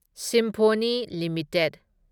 symphony limited